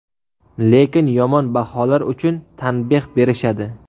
Lekin yomon baholar uchun tanbeh berishadi.